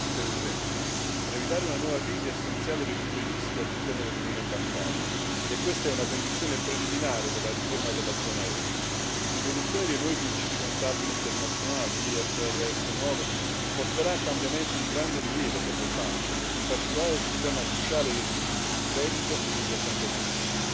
Signor Presidente, onorevoli colleghi, per evitare una nuova crisi è essenziale ridurre i rischi all'interno dell'Unione bancaria e questa è una condizione preliminare per la riforma della zona euro. L'introduzione dei nuovi principi contabili internazionali IFRS 9 porterà a cambiamenti di grande rilievo per le banche, in particolare sul tema cruciale del rischio di credito e degli accantonamenti.